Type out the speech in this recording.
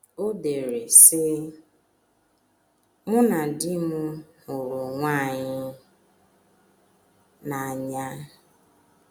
O dere, sị: “ Mụ na di m hụrụ onwe anyị n’anya.